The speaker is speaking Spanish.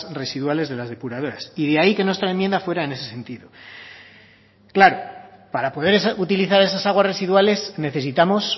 residuales de las depuradoras y de ahí que nuestra enmienda fuera en ese sentido claro para poder utilizar esas aguas residuales necesitamos